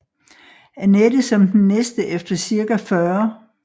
Anette som den næste efter cirka 40